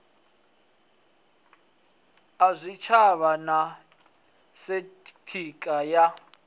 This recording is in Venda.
a zwitshavha na sekitha ya